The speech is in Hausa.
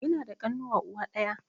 Ina da ƙanuwa uwa ɗaya